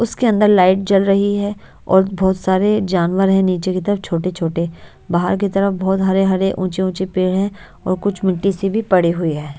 उसके अंदर लाइट जल रही है और बहुत सारे जानवर हैं नीचे की तरफ छोटे-छोटे बाहर की तरफ बहुत हरे-हरे ऊंचे-ऊंचे पेड़ हैं और कुछ मिट्टी सी भी पड़ी हुई है।